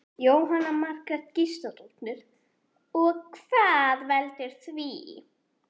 Jóhanna Margrét Gísladóttir: Og hvað veldur því?